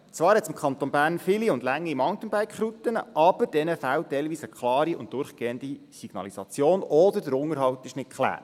Zwar hat es im Kanton Bern viele und lange Mountainbike-Routen, aber diesen fehlt teilweise eine klare und durchgehende Signalisation oder der Unterhalt ist nicht geklärt.